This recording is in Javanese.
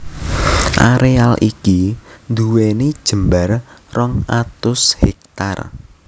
Areal iki nduweni jembar rong atus hèktar